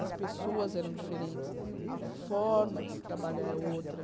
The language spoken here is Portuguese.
As pessoas eram diferentes, a forma de se trabalhar é outra.